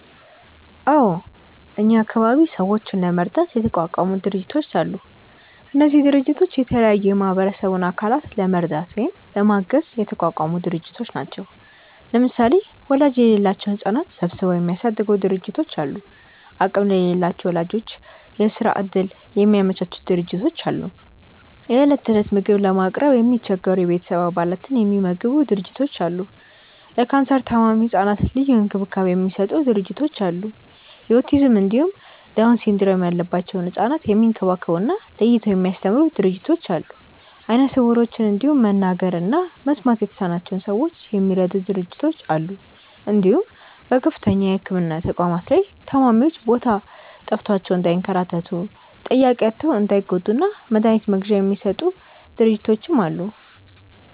አዎ እኛ አካባቢ ሰዎችን ለመርዳት የተቋቋሙ ድርጅቶች አሉ። እነዚህ ድርጅቶች የተለያዩ የማህበረሰቡን አካላት ለመርዳት ወይም ለማገዝ የተቋቋሙ ድርጅቶች ናቸው። ለምሳሌ ወላጅ የሌላቸውን ህጻናት ሰብስበው የሚያሳድጉ ድርጅቶች አሉ፣ አቅም ለሌላቸው ወላጆች የስራ እድል የሚያመቻቹ ድርጅቶች አሉ፣ የእለት እለት ምግብ ለማቅረብ የሚቸገሩ የቤተሰብ አባላትን የሚመግቡ ድርጅቶች አሉ፣ ለካንሰር ታማሚ ህጻናት ልዩ እንክብካቤ የሚሰጡ ድርጅቶች አሉ፣ የኦቲዝም እንዲሁም ዳውን ሲንድረም ያለባቸውን ህጻናት የሚንከባከቡ እና ለይተው የሚያስተምሩ ድርጅቶች አሉ፣ አይነ ስውሮችን እንዲሁም መናገር እና መስማት የተሳናቸውን ሰዎች የሚረዱ ድርጅቶች አሉ እንዲሁም በከፍተኛ የህክምና ተቋማት ላይ ታማሚዎች ቦታ ጠፍቷቸው እንዳይንከራተቱ፣ ጠያቂ አጥተው እንዳይጎዱ እና መድሀኒት መግዣ የሚሰጡ ድርጅቶችም አሉ።